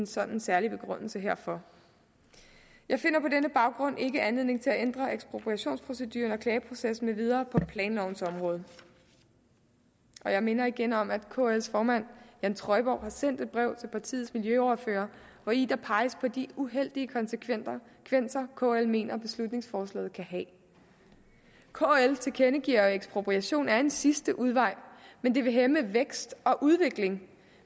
sådan særlig begrundelse herfor jeg finder på denne baggrund ikke anledning til at ændre ekspropriationsprocedurer og klageproces med videre på planlovens område jeg minder igen om at kls formand jan trøjborg har sendt et brev til partiernes miljøordførere hvori der peges på de uheldige konsekvenser kl mener beslutningsforslaget kan have kl tilkendegiver at ekspropriation er en sidste udvej men det vil hæmme vækst og udvikling